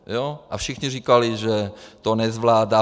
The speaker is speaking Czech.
A všichni říkali, že to nezvládá.